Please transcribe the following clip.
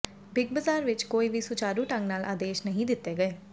big Bazaar ਵਿਚ ਕੋਈ ਵੀ ਸੁਚਾਰੂ ਢੰਗ ਨਾਲ ਆਦੇਸ਼ ਨਹੀਂ ਦਿੱਤੇ ਗਏ